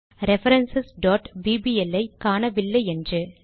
reference bbl ஐ காணவில்லை என்று